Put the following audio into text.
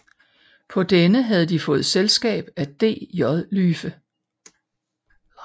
På denne havde de fået selskab af DJ Lyfe